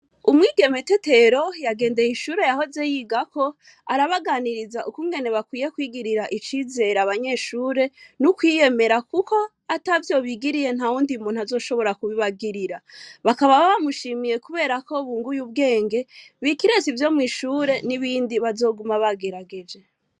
Umwigeme te tero yagendeye ishure yahoze yigako arabaganiriza ukungene bakwiye kwigirira icizera abanyeshure n'ukwiyemera, kuko ata vyobigiriye nta wundi muntu azoshobora kubibagirira bakaba bamushimiye, kubera ko bunguye ubwenge bikireza ivyo mw'ishure n'ibindi bazoguma bagerageje.